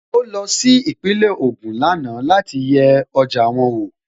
Ó lọ sí Ìpínlẹ̀ Ògùn lánàá láti yẹ ọjà wọn wò